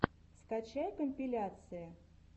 скачай компиляции